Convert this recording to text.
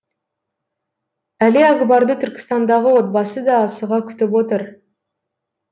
әлиакбарды түркістандағы отбасы да асыға күтіп отыр